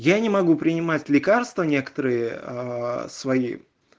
я не могу принимать лекарства некоторые свои